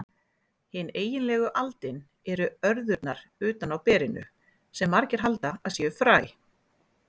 Hin eiginlegu aldin eru örðurnar utan á berinu, sem margir halda að séu fræ.